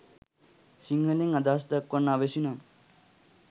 සිංහලෙන් අදහස් දක්වන්න අවැසි නම්